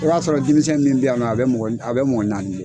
O y'a sɔrɔ denmisɛn min bɛ yan nɔ a bɛ mɔgɔ a bɛ mɔgɔ naani bɔ.